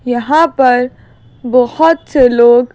यहां पर बहुत से लोग--